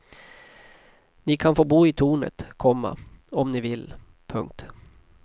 Ni kan få bo i tornet, komma om ni vill. punkt